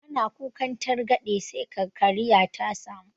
Ana kukan targaɗe sai ka kariya ta samu